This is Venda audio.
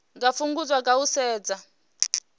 nga fhungudzwa nga u setsha